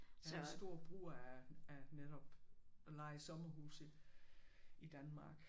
Der var stor brug af af netop at leje sommerhuse i Danmark